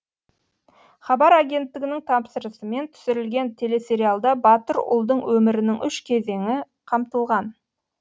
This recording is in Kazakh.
хабар агенттігінің тапсырысымен түсірілген телесериалда батыр ұлдың өмірінің үш кезеңі қамтылған